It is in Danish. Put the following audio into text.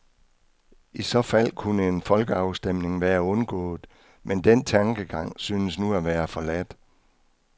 I så fald kunne en folkeafstemning være undgået, men den tankegang synes nu at være forladt.